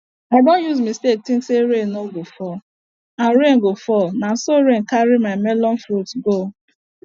i don use mistake think say rain no go fall and rain go fall na so rain carry my melon fruit go